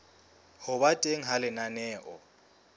ho ba teng ha lenaneo